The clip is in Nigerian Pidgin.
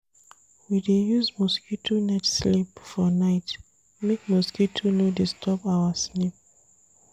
We dey use mosquito net sleep for night make mosquito no disturb our sleep.